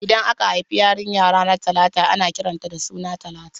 Idan aka haifi yarinya ranar Talata ana kiran ta da suna Talatu